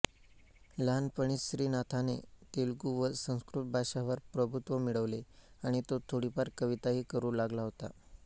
लहानपणीच श्रीनाथाने तेलुगू व संस्कृत भाषांवर प्रभुत्व मिळवले आणि तो थोडीफार कविताही करू लागला होता